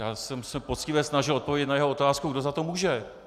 Já jsem se poctivě snažil odpovědět na jeho otázku, kdo za to může.